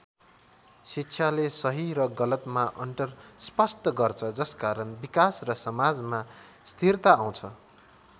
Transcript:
शिक्षाले सही र गलतमा अन्तर स्पष्ट गर्छ जसकारण विकास र समाजमा स्थिरता आउँछ।